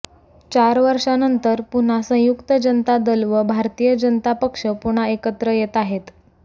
चार वर्षांनंतर पुन्हा संयुक्त जनता दल व भारतीय जनता पक्ष पुन्हा एकत्र येत आहेत